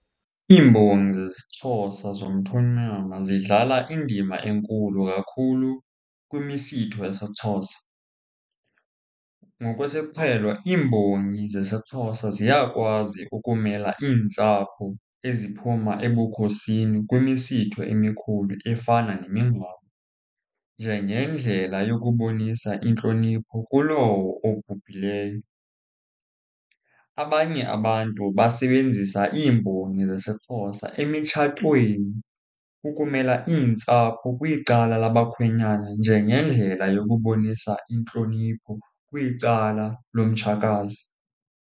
Iimbongi zesiXhosa zomthonyama zidlala indima enkulu kakhulu kwimisitho yesiXhosa. Ngokwesiqhelo iimbongi zesiXhosa ziyakwazi ukumela iintsapho eziphuma ebukhosini kwimisitho emikhulu efana nemingcwabo, njengendlela yokubonisa intlonipho kulowo obhubhileyo. Abanye abantu basebenzisa iimbongi zesiXhosa emitshatweni ukumela iintsapho kwicala labakhwenyana njengendlela yokubonisa intlonipho kwicala lomtshakazi.